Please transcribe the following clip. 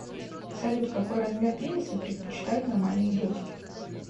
салют какой размер пениса предпочитают нормальные девушки